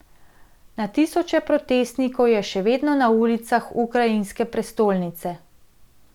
Na tisoče protestnikov je še vedno na ulicah ukrajinske prestolnice.